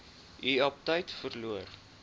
u aptyt verloor